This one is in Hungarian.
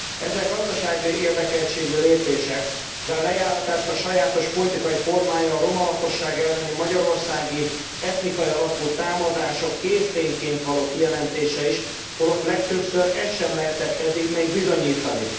Ezek gazdasági érdekeltségű lépések, de a lejáratás sajátos politikai formája a romalakosság elleni magyarországi, etnikai alapú támadások kész tényként való kijelentése is, holott legtöbbször ezt sem lehetett eddig bizonyítani.